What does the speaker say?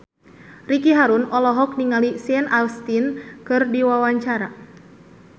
Ricky Harun olohok ningali Sean Astin keur diwawancara